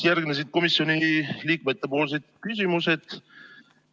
Järgnesid komisjoni liikmete küsimused.